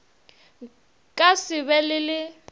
ka se be le le